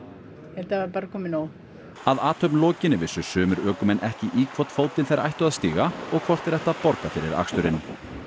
þetta var bara komið nóg að athöfn lokinni vissu sumir ökumenn ekki í hvorn fótinn þeir ættu að stíga og hvort þeir ættu að borga fyrir aksturinn